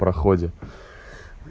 в проходе